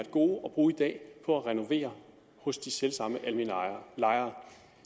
gode at bruge i dag på at renovere hos de selv samme almene lejere